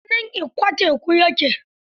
A birnin Ikko teku ya ke.